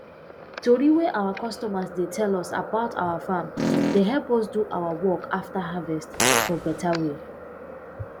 tori wey our customers dey tell us about our farm dey help us do our work after harvest for beta way